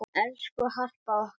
Elsku Harpa okkar.